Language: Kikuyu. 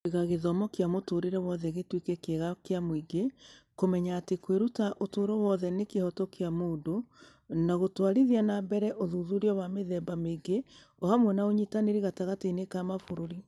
Kũiga gĩthomo kĩa mũtũũrĩre wothe gĩtuĩke kĩega kĩa mũingĩ, Kũmenya atĩ kwĩruta ũtũũro wothe nĩ kĩhooto kĩa mũndũ, na gũtwarithia na mbere ũthuthuria wa mĩthemba mĩingĩ o hamwe na ũnyitanĩri gatagatĩ-inĩ ka mabũrũri.